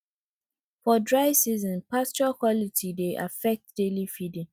for dry seasons pasture quality dey affect daily feeding